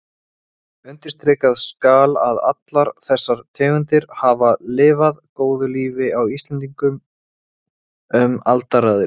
Einungis við slíkar aðstæður streymir grunnvatn af sjálfsdáðum úr borholum eða brunnum.